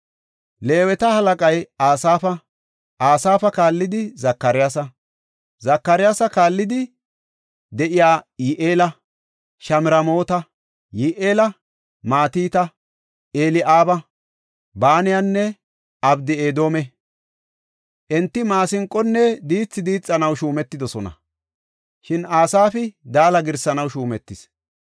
Leeweta halaqay Asaafa; Asaafa kaallidi Zakariyasa. Zakariyasa kaallidi de7ey Yi7eela, Shamramoota, Yi7eela, Matita, Eli7aaba, Banayanne Obeed-Edoome. Enti maasinqonne diithi diixanaw shuumetidosona; shin Asaafi daala girsanaw shuumetis.